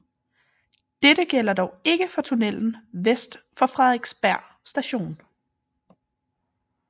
Dette gælder dog ikke for tunnelen vest for Frederiksberg Station